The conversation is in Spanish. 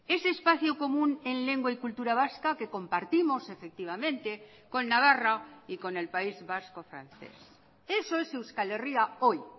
ese espacio común en lengua y cultura vasca que compartimos efectivamente con navarra y con el país vasco francés eso es euskal herria hoy